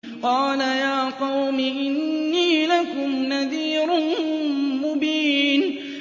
قَالَ يَا قَوْمِ إِنِّي لَكُمْ نَذِيرٌ مُّبِينٌ